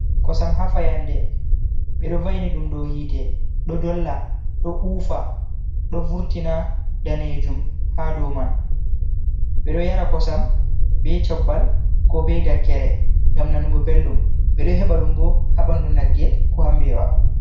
Kosam ha fayande, ɓe ɗo va'ini ɗum dow hite ɗo dolla, ɗo uufa, ɗo vurtina danejum ha dow man, ɓe ɗo yara kosam be cubbal, ko be dakkere, gam nanugo belɗum, ɓe ɗo heba ɗum bo habandu nagge ko ha mbewa.